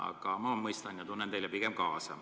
Aga ma mõistan ja tunnen teile pigem kaasa.